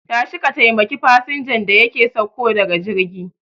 Tashi ka taimaki fasinjan da yake sauko daga jirgi